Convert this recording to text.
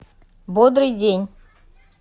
бодрый день